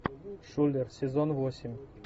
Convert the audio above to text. шулер сезон восемь